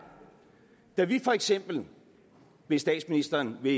da vi for eksempel hvis statsministeren vil